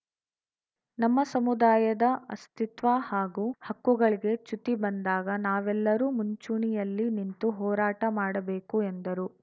ನಮ್ಮ ಸಮುದಾಯದ ಅಸ್ತಿತ್ವ ಹಾಗೂ ಹಕ್ಕುಗಳಿಗೆ ಚ್ಯುತಿ ಬಂದಾಗ ನಾವೆಲ್ಲರೂ ಮುಂಚೂಣಿಯಲ್ಲಿ ನಿಂತು ಹೋರಾಟ ಮಾಡಬೇಕು ಎಂದರು